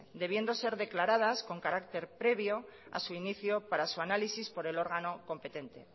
debiendo de ser declaradas con carácter previo a su inicio para su análisis por el órgano competente